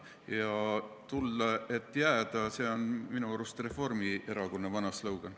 Ja tulla, et jääda – see on minu arust Reformierakonna vana slogan.